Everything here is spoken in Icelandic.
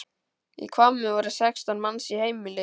Í Hvammi voru sextán manns í heimili.